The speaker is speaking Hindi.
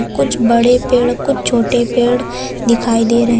कुछ बड़े पेड़ कुछ छोटे पेड़ दिखाई दे रहे हैं।